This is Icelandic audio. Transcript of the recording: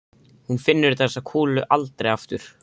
Hún finnur þessa kúlu aldrei aftur.